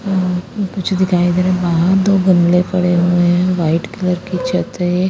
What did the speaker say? हम्म कुछ दिखाई दे रहा है बहार दो गमले पड़े हुए है वाइट कलर की छत है।